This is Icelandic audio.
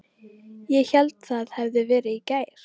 Ég hélt það hefði verið í gær.